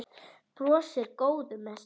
Brosir, góður með sig.